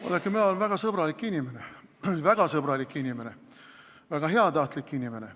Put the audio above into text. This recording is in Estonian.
Vaadake, mina olen väga sõbralik inimene, väga sõbralik inimene, väga heatahtlik inimene.